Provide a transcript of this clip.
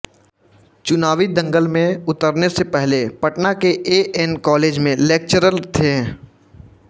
चुनावी दंगल में उतरने से पहले पटना के ए एन कॉलेज में लेक्चरर थे